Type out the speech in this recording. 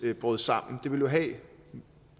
brød sammen det ville